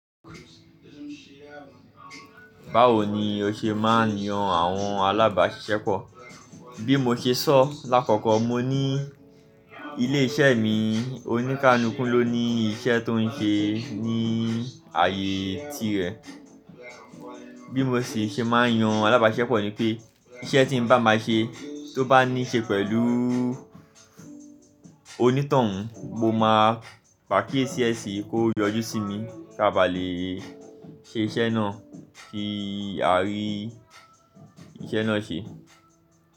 Báwo ni o ṣe máa ń yan àwọn alábàáṣiṣẹ́pọ̀? Bí mo ṣe sọ lákókò mo ní ilé iṣẹ́ mi oní kalúkú ló ní iṣẹ́ tó ń ṣe ní ààyè tirẹ̀. Bí mo sì ṣe máa ń yan alábá ṣiṣẹ́pọ̀ ni pé iṣẹ́ tí mo bá ma ṣe tó bá ní ṣe pẹ̀lú oníto-ún mo máa pe akí e sí ẹ sí i ko yọjú sí mi ki a bà lè ṣe iṣẹ́ náà kí a rí iṣẹ́ náà ṣe.